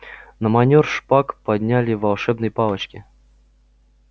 на манёр шпаг подняли волшебные палочки